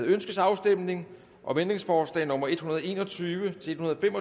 ønskes afstemning om ændringsforslag nummer en hundrede og en og tyve til tolv fem